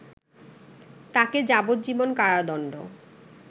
তাকে যাবজ্জীবন কারাদণ্ড